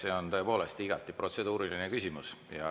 See on tõepoolest igati protseduuriline küsimus.